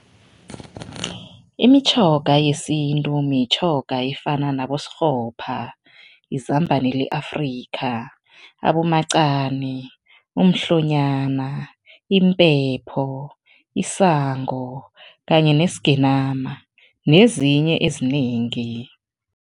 Imitjhoga yesintu mitjhoga efana nabosikghopha, izambane le-Afrika, abomacani, umhlonyana, impepho, isango kanye nesigenama nezinye ezinengi.